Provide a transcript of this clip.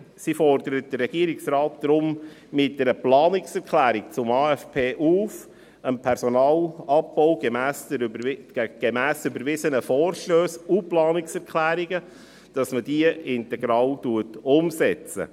Sie fordert den Regierungsrat deshalb mittels einer Planungserklärung zum AFP dazu auf, den Personalabbau gemäss überwiesenen Vorstössen und Planungserklärungen integral umzusetzen.